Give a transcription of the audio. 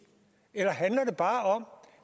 eller handler det bare om